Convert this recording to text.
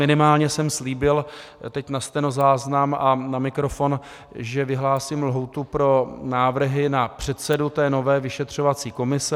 Minimálně jsem slíbil teď na stenozáznam a na mikrofon, že vyhlásím lhůtu pro návrhy na předsedu té nové vyšetřovací komise.